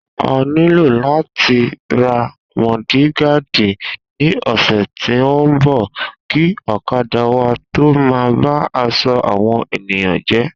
A nílò làti ra mọ́dìgaadì ni ọ̀sẹ̀ tí o nbọ, kìí ọ̀kadà wa tó má ba aṣọ àwọn ènìyàn jé